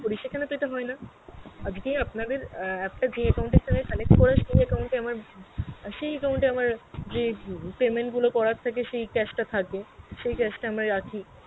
করি সেখানে তো এইটা হয়না, আজগে আপনাদের আ~ app টা যেই account এর সথে connect করা সেই account এ আমার সেই account এ আমার যে উম payment গুলো করার থাকে সেই cash টা থাকে সেই cash আমার রাখি